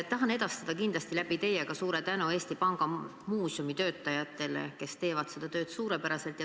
Tahan kindlasti edastada teie kaudu suure tänu ka Eesti Panga muuseumi töötajatele, kes teevad oma tööd suurepäraselt.